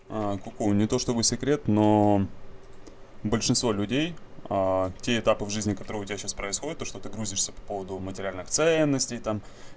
а ку ку не то чтобы секрет но большинство людей те этапы в жизни которой у тебя сейчас происходят то что ты грузишься по поводу материальных ценностей там